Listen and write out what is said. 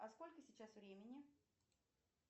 а сколько сейчас времени